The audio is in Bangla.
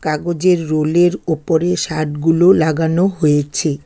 কাগজের রোলের ওপরে শার্ট -গুলো লাগানো হয়েছে।